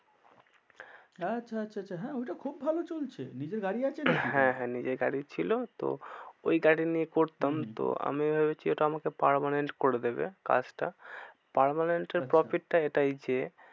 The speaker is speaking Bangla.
আচ্ছা আচ্ছা আচ্ছা হ্যাঁ ওইটা খুব ভালো চলছে নিজের গাড়ি আছে নাকি? হ্যাঁ হ্যাঁ নিজের গাড়ি ছিল। তো ওই গাড়ি নিয়ে করতাম তো আমি ভেবেছি ওটা আমাকে permanent করে দেবে কাজটা। permanent এর profit টা এটাই যে